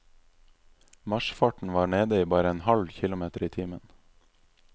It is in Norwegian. Marsfarten var nede i bare en halv kilometer i timen.